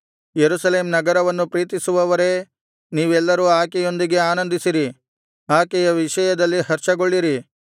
ಯೆರೂಸಲೇಮ್ ನಗರವನ್ನು ಪ್ರೀತಿಸುವವರೇ ನೀವೆಲ್ಲರೂ ಆಕೆಯೊಂದಿಗೆ ಆನಂದಿಸಿರಿ ಆಕೆಯ ವಿಷಯದಲ್ಲಿ ಹರ್ಷಗೊಳ್ಳಿರಿ